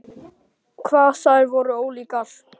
Hvað þær voru ólíkar!